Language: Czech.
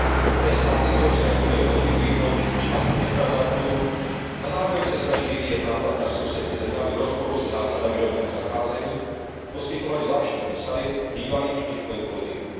Některé státy Evropské unie poskytují politický azyl defraudantům a zároveň se snaží vyvíjet nátlak na sousední země, aby v rozporu se zásadami rovného zacházení poskytovaly zvláštní výsady bývalým špičkovým politikům.